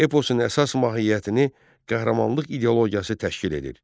Eposun əsas mahiyyətini qəhrəmanlıq ideologiyası təşkil edir.